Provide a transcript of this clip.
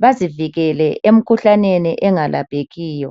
bazivikele emikhuhlaneni engalaphekiyo.